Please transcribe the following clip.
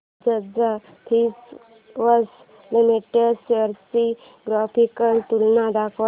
Bajaj Finserv limited shares ची graphical तुलना दाखव